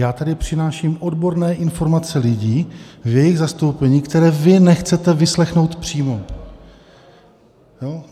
Já tady přináším odborné informace lidí v jejich zastoupení, které vy nechcete vyslechnout přímo.